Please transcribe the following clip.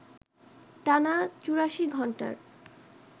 টানা ৮৪ ঘণ্টার